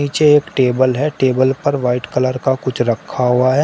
पीछे एक टेबल है टेबल पर वाइट कलर का कुछ रखा हुआ है।